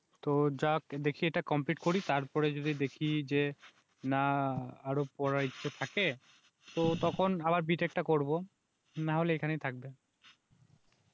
তো যাক দেখি এটা কমপ্লিট করি তারপরে যদি দেখি যে, না আরো পড়ার ইচ্ছা থাকে, তো তখন আবার বি টেক টা করবো নাহলে এখানেই থাকবে